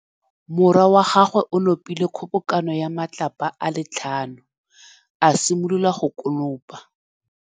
Morwa wa gagwe o nopile kgobokanô ya matlapa a le tlhano, a simolola go konopa.